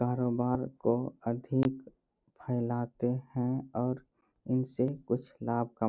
कारोबार को अधिक फैलाते हैं और इनसे कुछ लाभ कमाते--